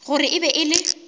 gore e be e le